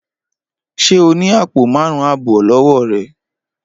Ṣé o ni apo márún abọ lọwọ rẹ?